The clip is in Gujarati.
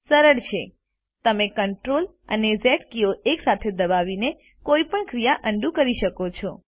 સરળ છે તમે Ctrl અને ઝ કીઓ એકસાથે દબાવીને કોઈપણ ક્રિયા અન્ડું કરી શકો છો